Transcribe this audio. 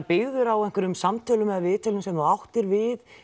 byggður á einhverjum samtölum eða viðtölum sem þú áttir við